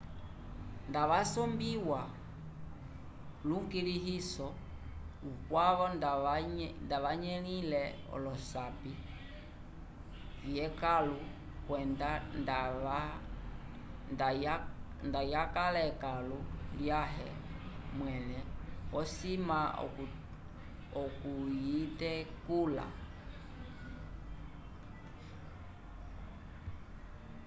nda wasombiwa lukulĩhiso ukwavo nda wanyelile olosapi vyekãlu kwenda nda yakala ekãlu lyãhe mwẽle osima okuyitetula